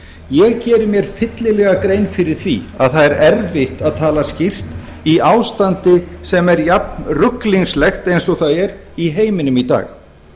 ég geri mér fyllilega grein fyrir því að það er erfitt að tala skýrt í ástandi sem er jafn ruglingslegt eins og það er í heiminum í dag